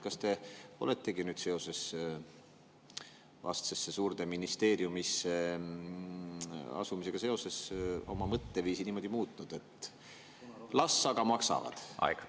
Kas te oletegi nüüd seoses vastsesse suurde ministeeriumisse asumisega oma mõtteviisi niimoodi muutnud, et las aga maksavad?